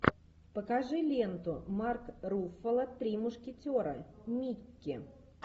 покажи ленту марк руффало три мушкетера микки